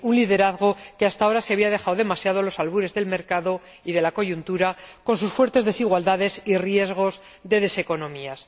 Es decir, la Unión ostenta un liderazgo que hasta ahora se había dejado demasiado a los albures del mercado y de la coyuntura, con sus fuertes desigualdades y riesgos de deseconomías.